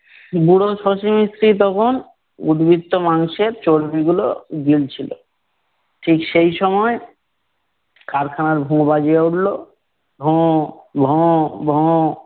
বুড়ো শশী মিস্ত্রি তখন উৎবিত্ত মাংসের চর্বিগুলো গিলছিল। ঠিক সেই সময় কারখানার ভোঁ বাজিয়ে ওঠলো, ভোঁ ভোঁ ভোঁ।